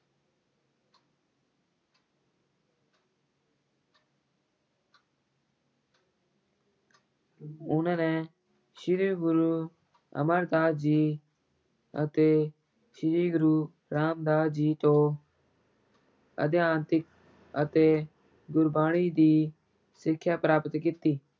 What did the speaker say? ਉਹਨਾਂ ਨੇ ਸ੍ਰੀ ਗੁਰੂ ਅਮਰਦਾਸ ਜੀ ਅਤੇ ਸ੍ਰੀ ਗੁਰੂ ਰਾਮਦਾਸ ਜੀ ਤੋਂ ਅਧਿਆਤਮਿਕ ਅਤੇ ਗੁਰਬਾਣੀ ਦੀ ਸਿੱਖਿਆ ਪ੍ਰਾਪਤ ਕੀਤੀ।